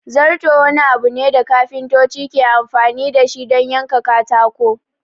Zarto wani abu ne da kafintoci ke amfani dashi don yanka katako